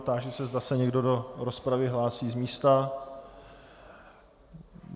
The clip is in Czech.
Táži se, zda se někdo do rozpravy hlásí z místa.